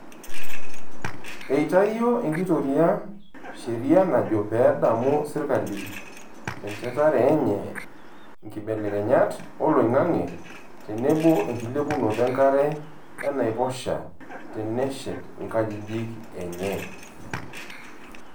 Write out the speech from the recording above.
Eitayio enkitoria sheria najo pee edamu serkali tenchetare enye nkibelekenyat oloingange tenebo enkilepunoto enkare enaiposha teneshet nkajijik enye.